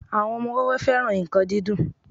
àwọn ọmọ wẹ́wẹẹ́ féràn nkan dídùn